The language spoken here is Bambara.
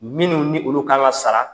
Minnu ni olu ka ŋa sara.